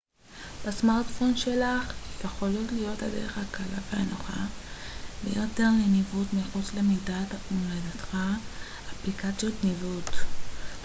אפליקציות ניווט gps בסמרטפון שלך יכולות להיות הדרך הקלה והנוחה ביותר לניווט מחוץ למדינת מולדתך